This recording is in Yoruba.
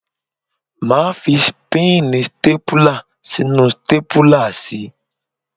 Máa fi píìnì stápùlà sínú stápùlà si.